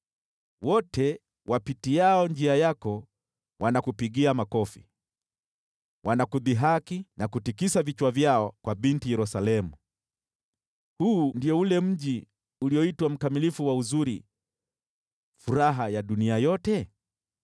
Wote wapitiao njia yako wanakupigia makofi, wanakudhihaki na kutikisa vichwa vyao kwa Binti Yerusalemu: “Huu ndio ule mji ulioitwa mkamilifu wa uzuri, furaha ya dunia yote?”